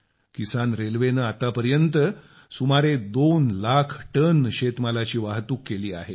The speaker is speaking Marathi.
किसान रेल्वेने आतापर्यंत सुमारे 2 लाख टन शेतमालाची वाहतूक केली आहे